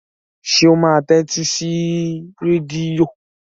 Ṣé ó máa tẹ́tí sí rédíò?